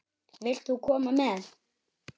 Vilt þú nokkuð koma með?